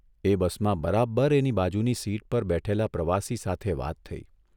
એ બસમાં બરાબર એની બાજુની સીટ પર બેઠેલા પ્રવાસી સાથે વાત થઇ.